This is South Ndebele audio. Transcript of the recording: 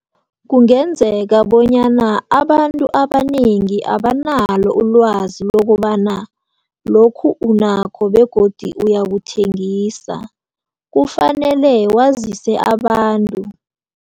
Kungenzeka bonyana abantu abanengi abanalo ulwazi lokobana lokhu unakho begodi uyakuthengisa, kufanele wazise abantu.